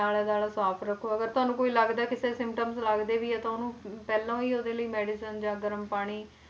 ਆਲਾ ਦੁਆਲਾ ਸਾਫ਼ ਰੱਖੋ ਅਗਰ ਤੁਹਾਨੂੰ ਕੋਈ ਲੱਗਦਾ ਹੈ ਕਿਸੇ symptoms ਲੱਗਦੇ ਵੀ ਹੈ ਤੇ ਉਹਨੂੰ ਪਹਿਲੋਂ ਹੀ ਉਹਦੇ ਲਈ medicines ਜਾਂ ਗਰਮ ਪਾਣੀ